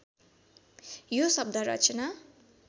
यो शब्द रचना